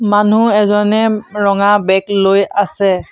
মানুহ এজনে ৰঙা বেগ লৈ আছে।